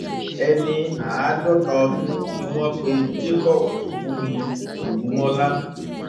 ẹni àádọta ọdún ni wọn pe jacob fúnmi ògúnmọlá